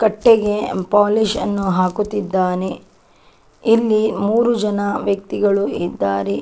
ಕಟ್ಟೆಗೆ polish ನ್ನು ಹಾಕುತ್ತಿದ್ದಾನೆ ಇಲ್ಲಿ ಮೂರು ಜನ ವ್ಯಕ್ತಿಗಳು ಇದ್ದಾರೆ .